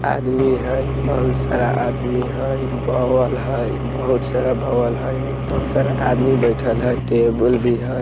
आदमी हेय बहुत सारा आदमी हेय बवल हेय बहुत सारा बवल हेय बहुत सारा आदमी बैठएल हेय टेबुल भी हेय।